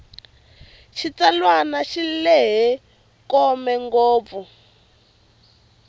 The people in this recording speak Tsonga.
xitsalwana xi lehe kome ngopfu